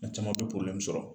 U caman bi sɔrɔ.